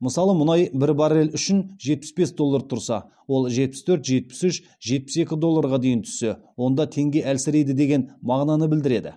мысалға мұнай бір баррель үшін жетпіс бес доллар тұрса ол жетпіс төрт жетпіс үш жетпіс екі долларға дейін түссе онда теңге әлсірейді деген мағынаны білдіреді